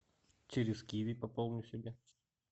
через киви пополню себе